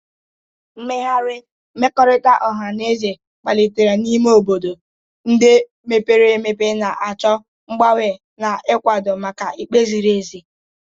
Mmegharị mmekọrịta ọha na eze kpalitere n'ime obodo ndị mepere emepe, na-achọ mgbanwe na ịkwado maka ikpe ziri ezi.